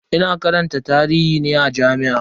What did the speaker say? Ina karanta tarihi ne a jami'a.